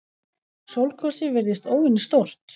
Sólgosið virðist óvenju stórt